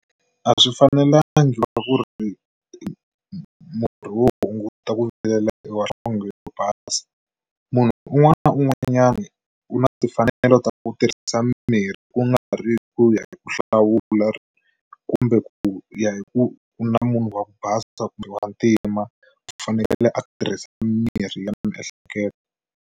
A swi fanelanga ku ri murhi wo hunguta ta ku vilela i wa nhlonghe yo basa munhu un'wana na un'wanyana u na timfanelo ta ku tirhisa mirhi ku nga ri ku ya hi ku hlawula kumbe ku ya hi ku ku na munhu wa ku basa kumbe wa ntima u fanekele a tirhisa mirhi ya miehleketo.